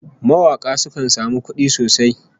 Mawaka sukan samu kudi sosai